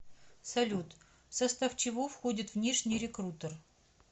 салют в состав чего входит внешний рекрутер